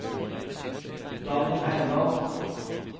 Daniel Heimdal